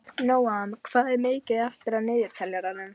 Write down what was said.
Nóam, hvað er mikið eftir af niðurteljaranum?